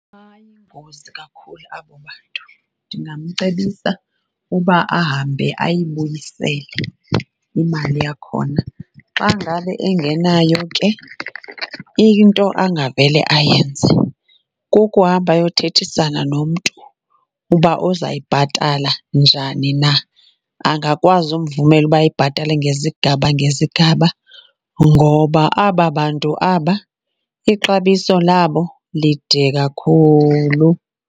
Bayingozi kakhulu abo bantu. Ndingamcebisa uba ahambe ayibuyisele imali yakhona. Xa ngabe engenayo ke into angavele ayenze kukuhamba ayothethisana nomntu uba uzawuyibhatala njani na, angakwazi umvumela uba ayibhatale ngezigaba ngezigaba ngoba aba bantu aba ixabiso labo lide kakhulu.